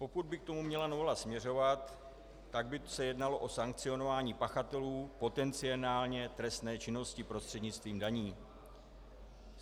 Pokud by k tomu měla novela směřovat, tak by se jednalo o sankcionování pachatelů potenciálně trestné činnosti prostřednictvím daní.